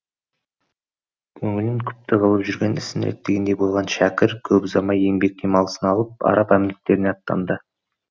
көңілін күпті қылып жүрген ісін реттегендей болған шәкір көп ұзамай еңбек демалысын алып араб әмірліктеріне аттанды